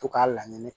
To k'a layɛ nɛ